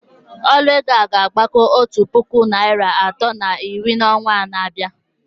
Ọnụ ego a ga-agbago otu puku naịra atọ na iri n'ọnwa na-abịa